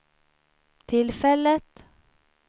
tillfället